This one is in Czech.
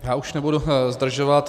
Já už nebudu zdržovat.